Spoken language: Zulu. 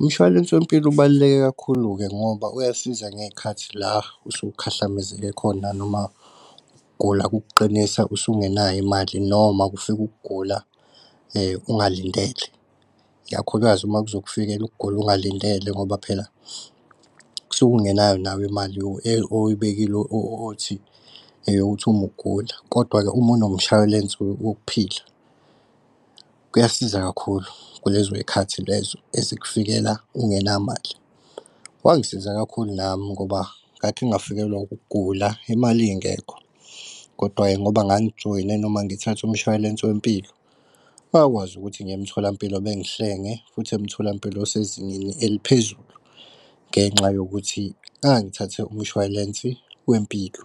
Umshwalense wempilo ubaluleke kakhulu-ke ngoba uyasiza ngey'khathi la usukukhahlameze khona noma ukugula kukuqinisa usungenayo imali noma kufike ukugula ungalindele. Ikakhulukazi, uma kuzokufikela ukugula ungalindele ngoba phela kusuke ungenayo nawe imali oyibekile othi eyokuthi umugula. Kodwa uma unomshwayilense wokuphila kuyasiza kakhulu kulezo zikhathi lezo ezikufikela ungenamali. Wangisiza kakhulu nami ngoba ngakhe ngafikelwa ukugula imali ingekho. Kodwa-ke ngoba ngangijoyine noma ngithathe umshwalense wempilo ngakwazi ukuthi ngiye emtholampilo bengihlenge. Futhi futhi emtholampilo osezingeni eliphezulu ngenxa yokuthi ngangithathe umshwalensi wempilo.